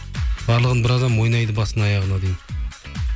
барлығын бір адам ойнайды басын аяғына дейін